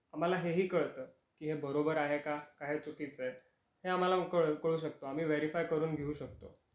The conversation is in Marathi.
आम्हाला हे हि कळतं की हे बरोबर आहे का, का हे चुकीच आहे, हे आम्हाला कळू शकतो, आम्ही व्हेरिफाय करून घेऊ शकतो.